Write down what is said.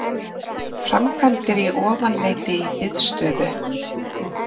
Framkvæmdir í Ofanleiti í biðstöðu